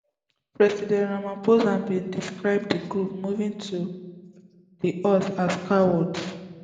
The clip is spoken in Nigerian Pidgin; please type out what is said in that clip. president rampahosa bin describe di group moving to di us as cowards